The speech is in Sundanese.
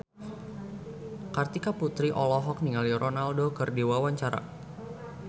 Kartika Putri olohok ningali Ronaldo keur diwawancara